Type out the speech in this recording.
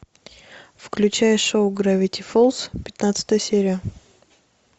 включай шоу гравити фолз пятнадцатая серия